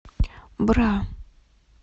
бра